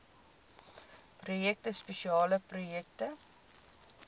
projekte spesiale projekte